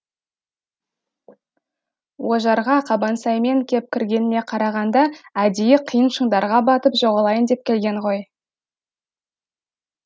ожарға қабансаймен кеп кіргеніне қарағанда әдейі қиын шыңдарға батып жоғалайын деп келген ғой